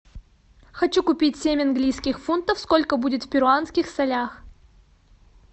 хочу купить семь английских фунтов сколько будет в перуанских солях